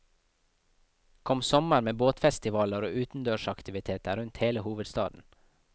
Kom sommer med båtfestivaler og utendørsaktiviteter rundt hele hovedstaden.